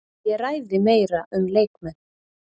Ég ræði meira um leikmenn.